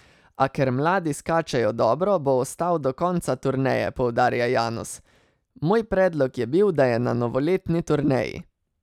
A ker mladi skačejo dobro, bo ostal do konca turneje, poudarja Janus: "Moj predlog je bil, da je na novoletni turneji.